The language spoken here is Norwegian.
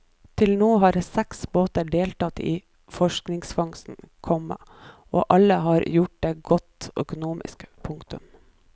Til nå har seks båter deltatt i forskningsfangsten, komma og alle har gjort det godt økonomisk. punktum